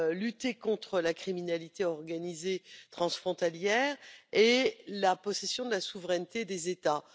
lutter contre la criminalité organisée transfrontalière et la possession de la souveraineté des États.